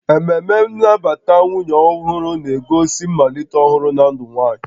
Ememe nnabata nwunye ọhụrụ na-egosi mmalite ọhụrụ na ndụ nwanyị